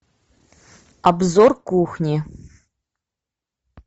обзор кухни